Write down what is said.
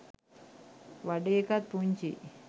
වඩේ එකත් පුංචියි.